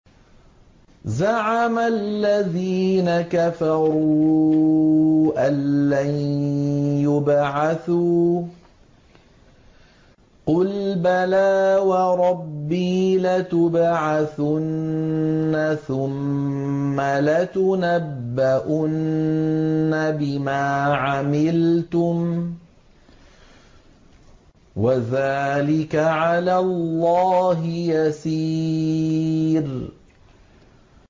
زَعَمَ الَّذِينَ كَفَرُوا أَن لَّن يُبْعَثُوا ۚ قُلْ بَلَىٰ وَرَبِّي لَتُبْعَثُنَّ ثُمَّ لَتُنَبَّؤُنَّ بِمَا عَمِلْتُمْ ۚ وَذَٰلِكَ عَلَى اللَّهِ يَسِيرٌ